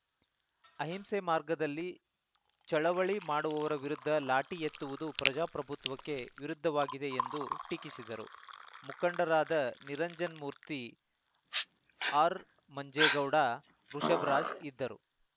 ಅಹಿಂಸೆ ಮಾರ್ಗದಲ್ಲಿ ಚಳವಳಿ ಮಾಡುವವರ ವಿರುದ್ಧ ಲಾಠಿ ಎತ್ತುವುದು ಪ್ರಜಾಪ್ರಭುತ್ವಕ್ಕೆ ವಿರುದ್ಧವಾಗಿದೆ ಎಂದು ಟೀಕಿಸಿದರು ಮುಖಂಡರಾದ ನಿರಂಜನ್ ಮೂರ್ತಿ ಆರ್‌ಮಂಜೇಗೌಡ ವೃಷಭರಾಜ್‌ ಇದ್ದರು